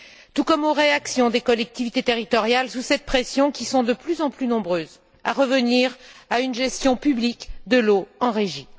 tout comme les réactions des collectivités territoriales, qui, sous cette pression, sont de plus en plus nombreuses à revenir à une gestion publique de l'eau en régie.